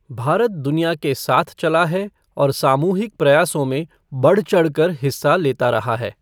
भारत दुनिया के साथ चला है और सामूहिक प्रयासों में बढ़चढ़ कर हिस्सा लेता रहा है।